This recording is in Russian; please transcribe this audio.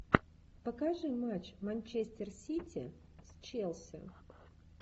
покажи матч манчестер сити с челси